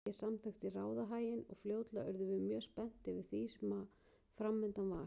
Ég samþykkti ráðahaginn og fljótlega urðum við mjög spennt yfir því sem framundan var.